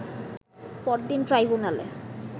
পরদিন ট্রাইব্যুনালে